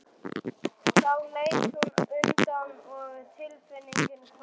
Þá leit hún undan og tilfinningin hvarf.